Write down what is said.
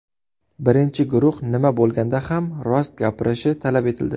Birinchi guruh nima bo‘lganda ham rost gapirishi talab etildi.